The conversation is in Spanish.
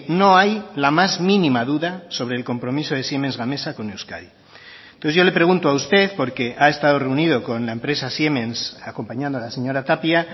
no hay la más mínima duda sobre el compromiso de siemens gamesa con euskadi entonces yo le pregunto a usted porque ha estado reunido con la empresa siemens acompañando a la señora tapia